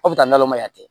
Aw bɛ taa nɔnɔ ma yan